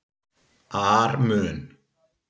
ar mun